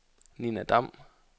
Nina Dam